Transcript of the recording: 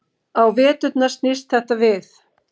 Á veturna snýst þetta við.